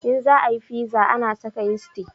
In za a yi fiza ana saka yisti